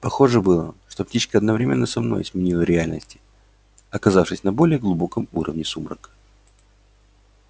похоже было что птичка одновременно со мной сменила реальность оказавшись на более глубоком уровне сумрака